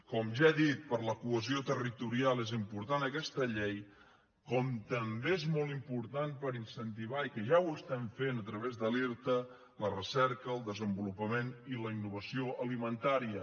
com ja he dit per a la cohesió territorial és important aquesta llei com també és molt important per incentivar i que ja ho estem fent a través de l’irta la recerca el desenvolupament i la innovació alimentària